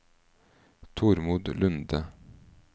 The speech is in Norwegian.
Tormod Lunde